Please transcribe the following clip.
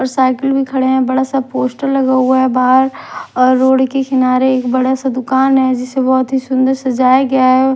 और साइकिल भी खड़े हैं बड़ा सा पोस्टर लगा हुआ है बाहर और रोड के किनारे एक बड़ा सा दुकान है जिसे बहुत ही सुंदर सजाया गया है।